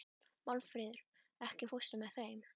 Málfríður, ekki fórstu með þeim?